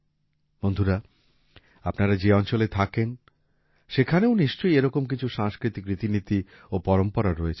বন্ধুরা আপনারা যে অঞ্চলে থাকেন সেখানেও নিশ্চয়ই এরকম কিছু সাংস্কৃতিক রীতিনীতি ও পরম্পরা রয়েছে